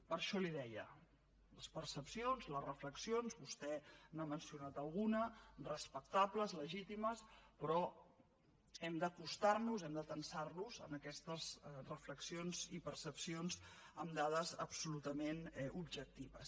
per això li deia les percepcions les reflexions vostè n’ha mencionat alguna respectables legítimes però hem d’acostar nos hem d’atansar nos a aquestes reflexions i percepcions amb dades absolutament objectives